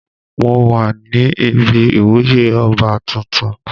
Mo wà ní ibi ìwúyè oba tuntun.